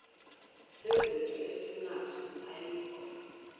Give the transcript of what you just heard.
sezinto esinazo ayikho